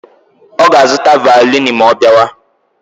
Ọ ga-azụta vaolini ma ọ bịawa?